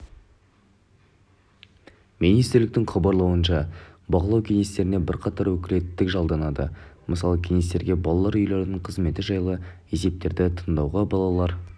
министрліктің хабарлауынша бақылау кеңестеріне бірқатар өкілеттілік жолданады мысалы кеңестерге балалар үйлерінің қызметі жайлы есептерді тыңдауға балалар